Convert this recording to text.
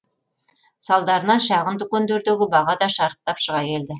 салдарынан шағын дүкендердегі баға да шарықтап шыға келді